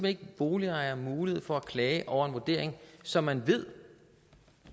ikke boligejere mulighed for at klage over en vurdering som man ved